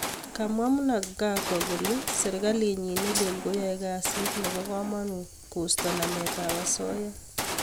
kamwa Mnangagwa kole sergalinyin ne lel kole yae kasiit nepo kamanuut kosta nameet ap asoya